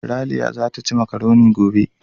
Raliya zata ci makaroni gobe.